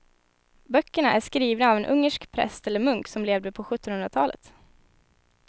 Böckerna är skrivna av en ungersk präst eller munk som levde på sjuttonhundratalet.